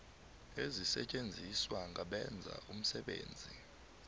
ezisetjenziswa ngabenza umsebenzi